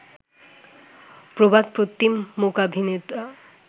প্রবাদপ্রতীম মূকাভিনেতা